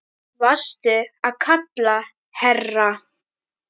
Varstu að kalla, herra?